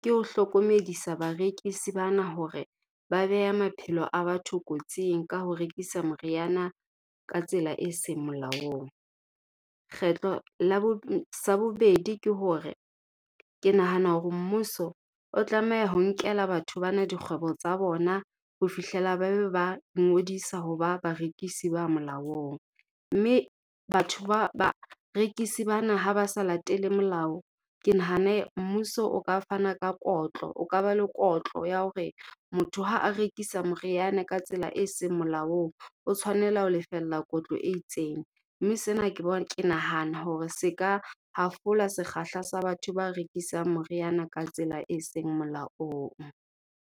ke ho hlokomedisa barekisi bana hore ba beha maphelo a batho kotsing ka ho rekisa moriana ka tsela e seng molaong. Kgetlo la , sa bobedi ke hore ke nahana hore mmuso o tlameha ho nkela batho bana dikgwebo tsa bona ho fihlela ba be ba ngodisa ho ba barekisi ba molaong. Mme batho barekisi bana ha ba sa latele molao, ke nahane mmuso o ka fana ka kotlo, o ka ba le kotlo ya hore motho ha a rekisa moriana ka tsela e seng molaong, o tshwanela ho lefella kotlo e itseng. Mme sena ke , ke nahana hore se ka hafola sekgahla sa batho ba rekisang moriana ka tsela e seng molaong.